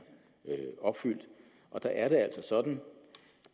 opfyldt og der er det altså sådan